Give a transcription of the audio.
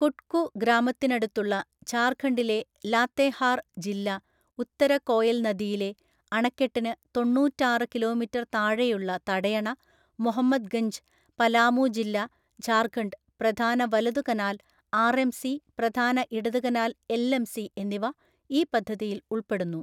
കുട്കു ഗ്രാമത്തിനടുത്തുള്ള ഝാർഖണ്ഡിലെ ലാത്തേഹാർ ജില്ല ഉത്തര കോയൽ നദിയിലെ, അണക്കെട്ടിന് തൊണ്ണൂറ്റാറ് കിലോമീറ്റർ താഴെയുള്ള തടയണ മുഹമ്മദ്ഗഞ്ച്, പലാമു ജില്ല, ഝാർഖണ്ഡ്, പ്രധാന വലതു കനാൽ ആർഎംസി, പ്രധാന ഇടത് കനാൽ എൽഎംസി എന്നിവ ഈ പദ്ധതിയിൽ ഉൾപ്പെടുന്നു.